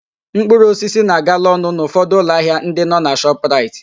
Mkpụrụosisi na-agala ọnụ n'ụfọdụ ụlọ ahịa ndị nọ na Shọpraịt.